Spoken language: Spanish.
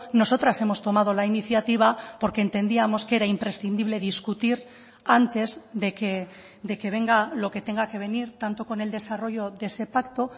nosotras hemos tomado la iniciativa porque entendíamos que era imprescindible discutir antes de que venga lo que tenga que venir tanto con el desarrollo de ese pacto